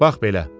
Bax belə.